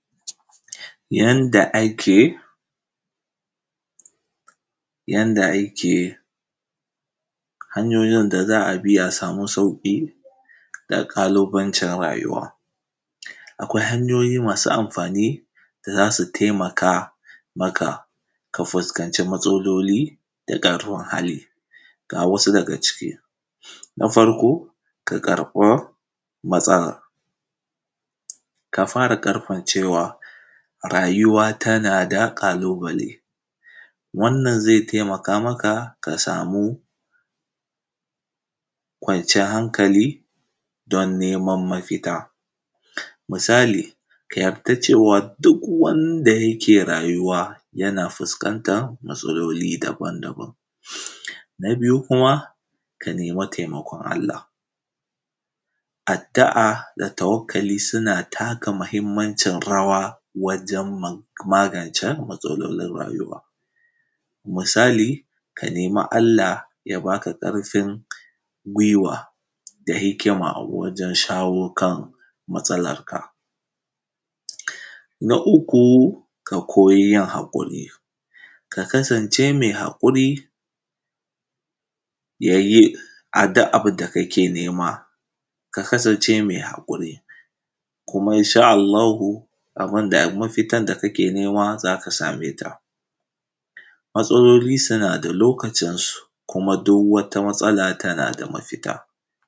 Yanda ake, yanda ake, hanyoyin da za a bi a samu sauƙi na ƙalubancin rayuwa. Akwai hanyoyi masu amfani da za su taimaka maka, ka fuskanci matsaloli da ƙarfin hali, ga wasu daga ciki: Na farko ka karɓa matsala, ka fara karɓan cewa rayuwa tana da ƙalubale, wannan zai taimaka maka ka samu kwaciyar hankali don neman mafita, misali ka yarda cewa duk wanda yake rayuwa, yana fuskanta matsaloli daban-daban. Na biyu kuma, ka nema taimakon Allah, addu’a da tawakkali suna taka mahimmancin rawa wajen magance matsalolin rayuwa, misali, ka nemi Allah ya baka ƙarfin gwiwa da hikima wajen shawo kan matsalarka. Na uku ka koyi yin haƙuri, ka kasance mai haƙuri, ya yi, duk abin da kake nema ka kasance mai haƙuri, kuma insha Allahu abin da, mafitan da kake nema za ka same ta. Matsaloli suna da lokacin su, kuma duk wata matsala tana da mafita.